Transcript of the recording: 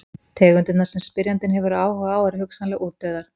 Tegundirnar sem spyrjandi hefur áhuga á eru hugsanlega útdauðar.